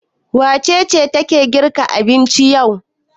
Wace ce take girka abinci yau?